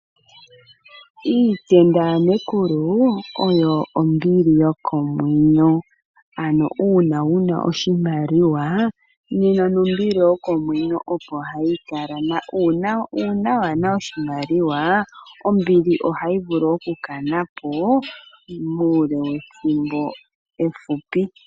Iitenda ya Nekulu oyo ombili yokomwenyo. Ano uuna wuna oshimaliwa nena nombili yokomwenyo opo hayi kala na uuna waana oshimaliwa ombili ohayi vulu oku kanapo muule wethimbo efupi.